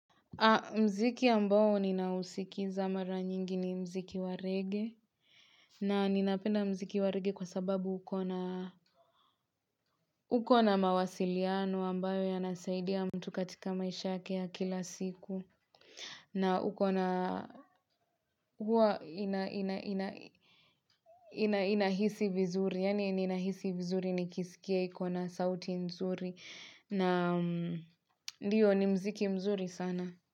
Muziki ambao ninausikiliza mara nyingi ni muziki wa rege na ninapenda muziki warege kwa sababu ukona mawasiliano ambayo ya nasaidia mtu katika maisha yake ya kila siku na ukona huwa inahisi vizuri yani ninahisi vizuri nikisikia ikona sauti nzuri na ndiyo ni muziki mzuri sana.